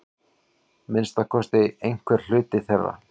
Minnsta kosti einhver hluti þeirra.